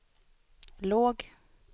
låg